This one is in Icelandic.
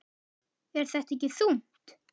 Er þetta ekki þungt?